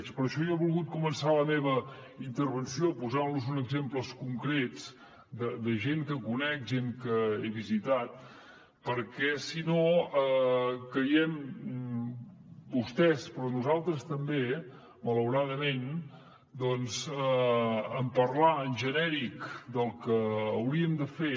per això jo he volgut començar la meva intervenció posant los uns exemples concrets de gent que conec gent que he visitat perquè si no caiem vostès però nosaltres també malauradament en parlar en genèric del que hauríem de fer